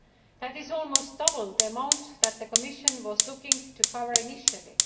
That is almost double the amount that the Commission was looking to cover initially.